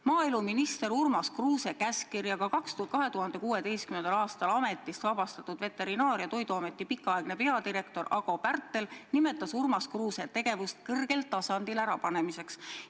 Maaeluminister Urmas Kruuse käskkirjaga 2016. aastal ametist vabastatud Veterinaar- ja Toiduameti pikaaegne peadirektor Ago Pärtel nimetas Urmas Kruuse tegevust kõrgel tasandil ärapanemiseks.